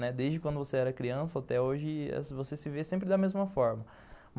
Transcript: Desde quando você era criança até hoje, você se vê sempre da mesma forma.